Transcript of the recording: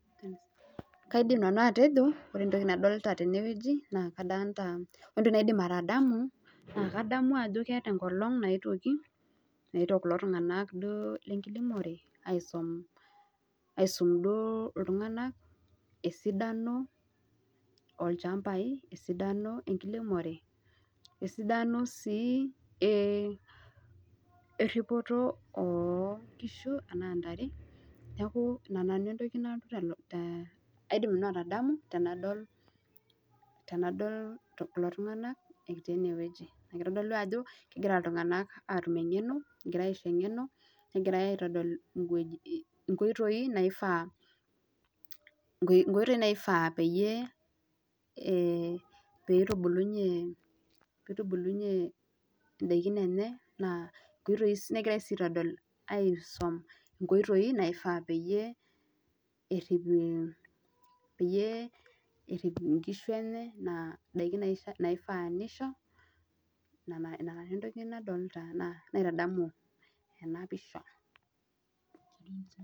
Kaidim nanu atejo, ore entoki nadolita tenewueji naa kadolita, ore entoki naadim atadamu naa kadamu ajo keeta enkolong' naetwoki naetwo kulo tung'anak duo lenkiremore aisom, aisum duo iltung'anak esidano olchambai, esidano enkiremore, esidano sii erripoto oo nkishu enaa ntare neeku ina nanu entoki nalotu telukunya, aaidim nanu atadamu tenadol kulo tung'anak etii enewueji. Keitodolu ajo kegira iltung'anak aatum eng'no, egirai aaisho eng'eno negirai aitodol inkoitoi naifaa, inkotoi naifaa peyie peitubulunye, peitubulunye ndaiki enye, negirai sii aitodol aisom inkoitoi naifaa peyie errip, peyie errip inkishu enye, nena daiki naifaa nisho. Ina nanu entoki nadolita, naitadamu ena pisha